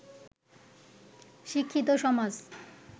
শিক্ষিত সমাজ